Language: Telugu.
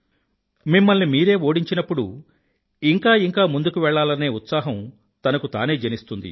మిమ్మల్ని మీరే ఓడించినప్పుడూ ఇంకా ఇంకా ముందుకు వెళ్ళాలనే ఉత్సాహాం తనకు తానే జనిస్తుంది